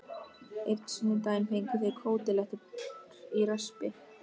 Einn sunnudaginn fengu þau kótilettur í raspi.